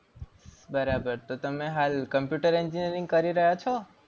બરાબર. તો તમે હાલ computer engineering કરી રહ્યા છો?